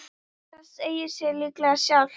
Það segir sig líklega sjálft.